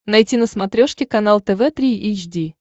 найти на смотрешке канал тв три эйч ди